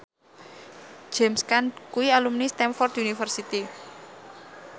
James Caan kuwi alumni Stamford University